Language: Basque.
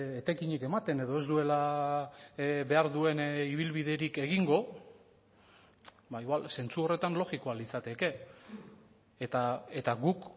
etekinik ematen edo ez duela behar duen ibilbiderik egingo ba igual zentzu horretan logikoa litzateke eta guk